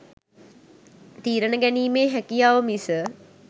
තීරන ගැනීමේ හැකියාව මිස